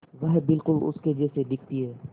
वह बिल्कुल उसके जैसी दिखती है